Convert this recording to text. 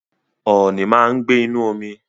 Ooni máa ń gbé inú omi